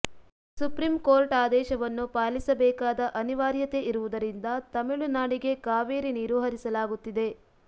supreme court ಆದೇಶವನ್ನು ಪಾಲಿಸಬೇಕಾದ ಅನಿವಾರ್ಯತೆ ಇರುವುದರಿಂದ ತಮಿಳುನಾಡಿಗೆ ಕಾವೇರಿ ನೀರು ಹರಿಸಲಾಗುತ್ತಿದೆ